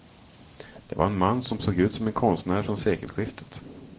Det var en man som såg ut som en konstnär från sekelskiftet.